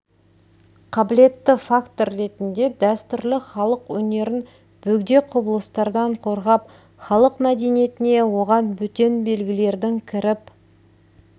қабілетті фактор ретінде дәстүрлі халық өнерін бөгде құбылыстардан қорғап халық мәдениетіне оған бөтен белгілердің кіріп